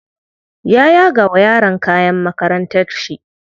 Ya yaga wa yaron kayan makarantar shi.